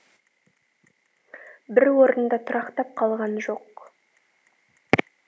бір орында тұрақтап қалған жоқ